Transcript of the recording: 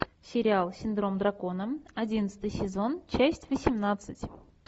сериал синдром дракона одиннадцатый сезон часть восемнадцать